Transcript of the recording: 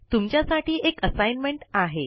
तुमच्यासाठी एक असाइनमेंट आहे